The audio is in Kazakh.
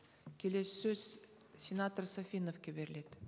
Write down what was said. келесі сөз сенатор сафиновке беріледі